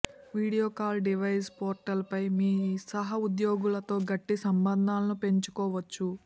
video call device portal పై మీ సహో ఉద్యోగులతో గట్టి సంబంధాలను పెంచుకోవచ్చు